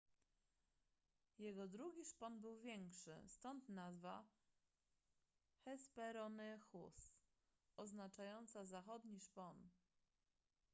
jego drugi szpon był większy stąd nazwa hesperonychus oznaczająca zachodni szpon